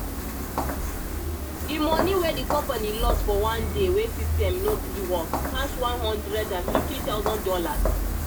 di moni wey di company lose for one day wey system no gree work pass one hundred and fifty thousand dollars